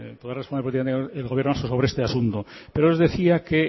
podrá responder políticamente el gobierno vasco sobre este asunto pero les decía que